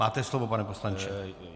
Máte slovo, pane poslanče.